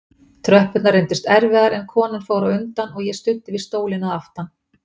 Tröppurnar reyndust erfiðar en konan fór á undan og ég studdi við stólinn að aftan.